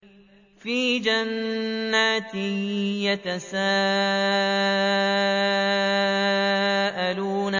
فِي جَنَّاتٍ يَتَسَاءَلُونَ